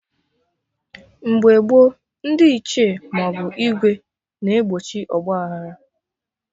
Mgbe gboo, ndị Ichie maọbụ ìgwè na-egbochi ọgba aghara